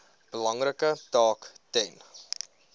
belangrike taak ten